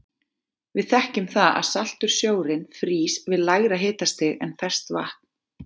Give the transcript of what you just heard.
Við þekkjum það að saltur sjórinn frýs við lægra hitastig en ferskt vatn.